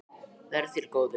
Verði þér að góðu.